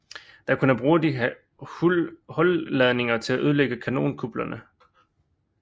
Der kunne de bruge hulladningerne til at ødelægge kanonkuplerne